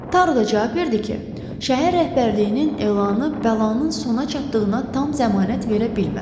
Taru da cavab verdi ki, şəhər rəhbərliyinin elanı bəlanın sona çatdığına tam zəmanət verə bilməz.